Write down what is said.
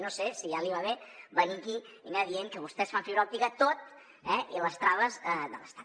no sé si ja li va bé venir aquí i anar dient que vostès fan fibra òptica tot i les traves de l’estat